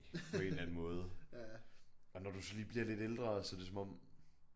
På en eller anden måde og når du så lige bliver lidt ældre så det som om